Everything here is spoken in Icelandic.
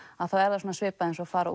þá er það svipað og að fara